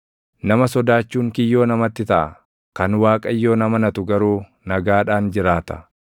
Nama sodaachuun kiyyoo namatti taʼa; kan Waaqayyoon amanatu garuu nagaadhaan jiraata.